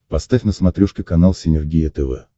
поставь на смотрешке канал синергия тв